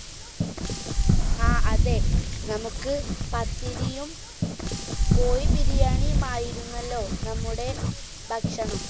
ആ അതെ നമ്മുക്ക് പത്തിരിയും കോഴി ബിരിയാണിയുമാണല്ലോ നമ്മുടെ ഭക്ഷണം